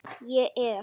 Ég er.